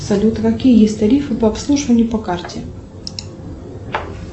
салют какие есть тарифы по обслуживанию по карте